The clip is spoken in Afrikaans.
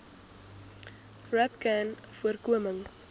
rapcanvoorkoming